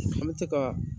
An bɛ se ka